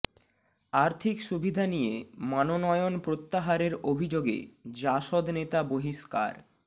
আর্থিক সুবিধা নিয়ে মনোনয়ন প্রত্যাহারের অভিযোগে জাসদ নেতা বহিষ্কার